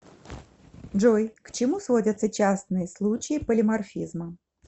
джой к чему сводятся частные случаи полиморфизма